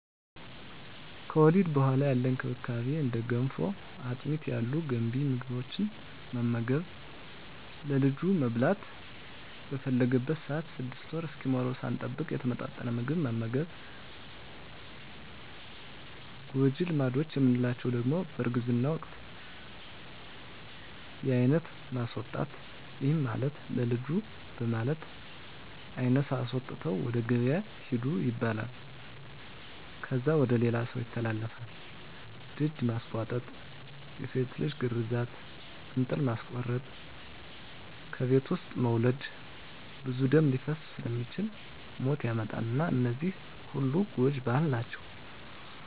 ከወሊድ በኋላ ያለ እንክብካቤ እነ ገንፎ፣ አጥሚት ያሉ ገንቢ ምግቦትን መመገብ፣ ለልጁ መብላት በፈለገበት ሰአት 6 ወር እስኪሞላዉ ሳንጠብቅ የተመጣጠነ ምግብ መመገብ። ጎጂ ልማዶች የምንላቸዉ ደሞ በእርግዝና ወቅት የአይነት ማስወጣት ይህም ማለት ለልጁ በማለት አይነት አስወጥተዉ ወደ ገበያ ሂዱ ይባላል። ከዛ ወደ ሌላ ሰዉ ይተላለፋል፣ ድድ ማስቧጠጥ፣ የሴት ልጅ ግርዛት፣ እንጥል ማስቆረጥ፣ ከቤት ዉስጥ መዉለድ ብዙ ደም ሊፈስ ስለሚችል ሞት ያመጣል እና እነዚህ ሁሉ ጎጂ ባህል ናቸዉ።